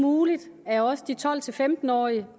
muligt at også de tolv til femten årige